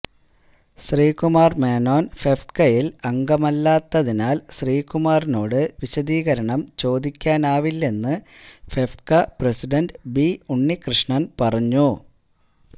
ശ്രീകുമാര് മേനോന് ഫെഫ്ക്കയില് അംഗമല്ലാത്തതിനാല് ശ്രീകുമാറിനോട് വിശദീകരണം ചോദിക്കാനാവില്ലെന്ന് ഫെഫ്ക്ക പ്രസിഡന്റ് ബി ഉണ്ണികൃഷ്ണന് പറഞ്ഞു